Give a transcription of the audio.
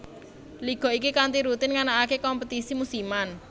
Liga iki kanthi rutin nganakake kompetisi musiman